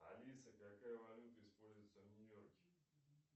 алиса какая валюта используется в нью йорке